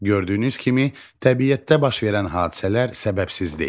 Gördüyünüz kimi təbiətdə baş verən hadisələr səbəbsiz deyil.